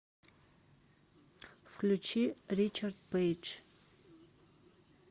включи ричард пэйдж